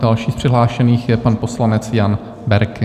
Další z přihlášených je pan poslanec Jan Berki.